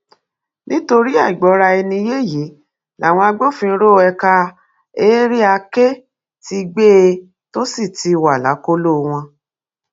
nítorí àìgbọraẹniyé yìí làwọn agbófinró ẹka area k ti gbé e tó sì ti wà lákọlò wọn